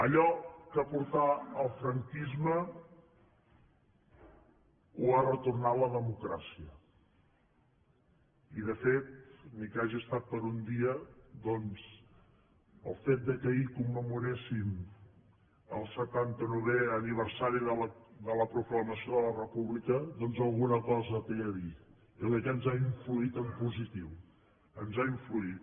allò que portà el franquisme ho ha retornat la democràcia i de fet ni que hagi estat per un dia doncs el fet que ahir commemoréssim el setanta novè aniversari de la proclamació de la república alguna cosa hi té a dir jo crec que ens ha influït en positiu ens ha influït